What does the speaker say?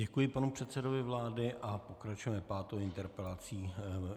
Děkuji panu předsedovi vlády a pokračujeme pátou interpelací.